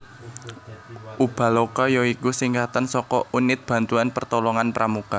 Ubaloka ya iku singkatan saka Unit Bantuan Pertolongan Pramuka